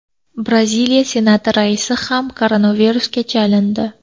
Braziliya Senati raisi ham koronavirusga chalindi.